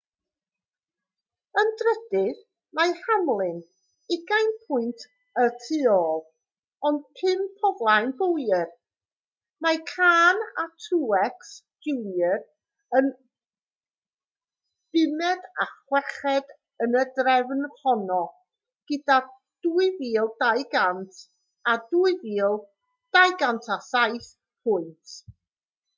yn drydydd mae hamlin ugain pwynt y tu ôl ond pump o flaen bowyer mae kahne a truex jr yn bumed a chweched yn y drefn honno gyda 2,200 a 2,207 pwynt